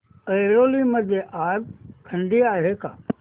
ऐरोली मध्ये आज थंडी आहे का